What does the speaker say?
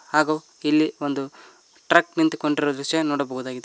ಹಾಗೂ ಇಲ್ಲಿ ಒಂದು ಟ್ರಕ್ ನಿಂತುಕೊಂಡಿರುವ ದೃಶ್ಯ ನೋಡಬಹುದಾಗಿದೆ.